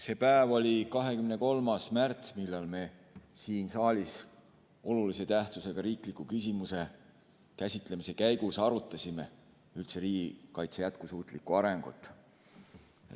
See päev oli 23. märts, kui me olulise tähtsusega riikliku küsimuse käsitlemise käigus arutasime siin saalis üldse riigikaitse jätkusuutlikku arengut.